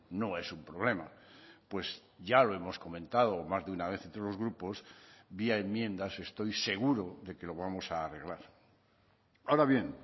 no es un problema pues ya lo hemos comentado más de una vez entre los grupos vía enmiendas estoy seguro de que lo vamos a arreglar ahora bien